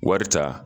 Wari ta